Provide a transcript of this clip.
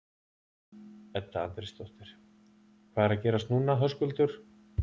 Edda Andrésdóttir: Hvað er að gerast núna Höskuldur?